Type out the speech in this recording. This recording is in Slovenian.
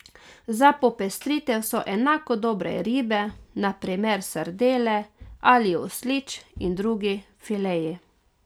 Za popestritev so enako dobre ribe, na primer sardele ali oslič in drugi fileji.